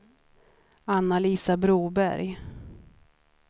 Anna-Lisa Broberg